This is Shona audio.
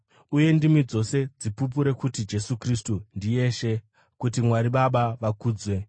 uye ndimi dzose dzipupure kuti Jesu Kristu ndiye Ishe, kuti Mwari Baba vakudzwe.